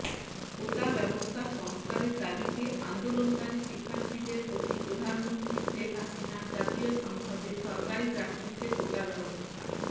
কোটাব্যবস্থা সংস্কারের দাবিতে আন্দোলনকারী শিক্ষার্থীদের প্রতি প্রধানমন্ত্রী শেখ হাসিনা জাতীয় সংসদে সরকারি চাকরিতে কোটাব্যবস্থা